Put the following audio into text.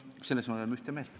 Selles me oleme ühte meelt.